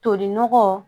Toli nɔgɔ